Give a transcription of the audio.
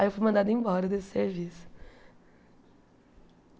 Aí eu fui mandada embora desse serviço.